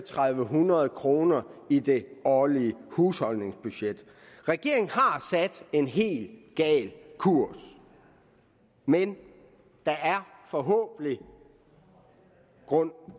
hundrede kroner i det årlige husholdningsbudget regeringen har sat en helt gal kurs men der er forhåbentlig grund